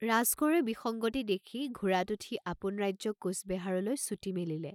ৰাজকোঁৱৰে বিসংগতি দেখি ঘোঁৰাত উঠি আপোন ৰাজ্য কোচবেহাৰলৈ ছুটি মেলিলে।